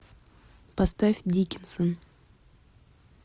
поставь дикинсон